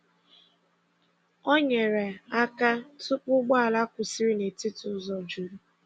Ọ nyerè aka tụ̀pụ̀ ụgbọ̀ala kwụsịrị n’etiti ụzọ jurù.